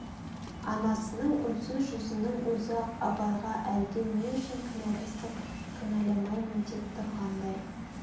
анасының үнсіз жүзнің өз-ақ абайға әлде не үшін кінәлісің кінәлаймын деп тұрғандай